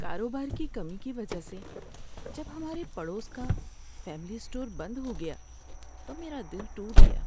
کاروبار کی کمی کی وجہ سے جب ہمارے پڑوس کا فیملی اسٹور بند ہو گیا تو میرا دل ٹوٹ گیا۔